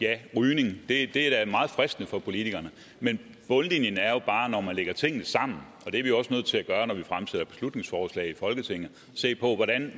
det er i det er da meget fristende for politikerne men bundlinjen er jo bare at når man lægger tingene sammen når vi fremsætter beslutningsforslag i folketinget at se på